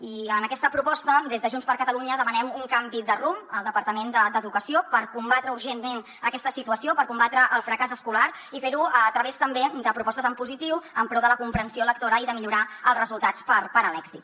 i en aquesta proposta des de junts per catalunya demanem un canvi de rumb al departament d’educació per combatre urgentment aquesta situació per combatre el fracàs escolar i fer ho a través també de propostes en positiu en pro de la comprensió lectora i de millorar els resultats per a l’èxit